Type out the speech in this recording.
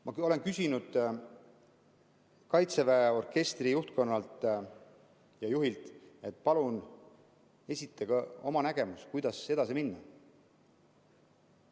Ma olen öelnud kaitseväe orkestri juhtkonnale ja juhile, et palun esitage oma nägemus, kuidas edasi minna.